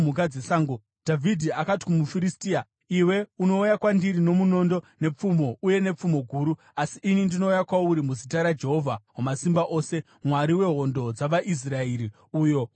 Dhavhidhi akati kumuFiristia, “Iwe unouya kwandiri nomunondo, nepfumo uye nepfumo guru, asi ini ndinouya kwauri muzita raJehovha Wamasimba Ose, Mwari wehondo dzavaIsraeri, uyo waunozvidza.